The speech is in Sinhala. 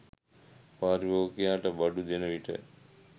පාරිභෝගිකයාට බඩු දෙන විට